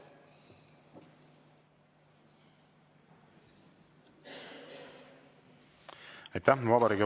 Aitäh!